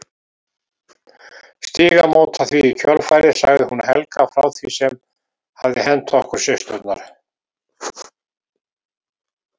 Stígamóta því í kjölfarið sagði hún Helga frá því sem hafði hent okkur systurnar.